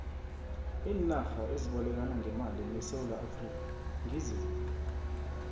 iinarha ezibolekana ngemali nesewula afrika ngiziphi